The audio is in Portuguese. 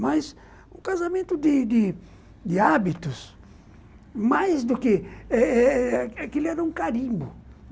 Mas o casamento de de de hábitos, mais do que eh eh... Aquele era um carimbo.